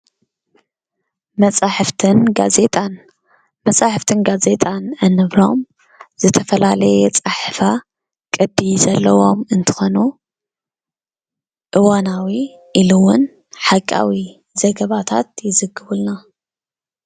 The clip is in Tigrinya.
መፅሓፍትን ጋዜጣን መፅሓፍትን ጋዜጣን እንብሎም ዝተፈላለየ ኣፀሓሕፋ ቅዲ ዘለዎም እንትኮኑ እዋናዊ ኢሉ እዉን ሓቃዊ ዘገባታት ይዝግቡልና።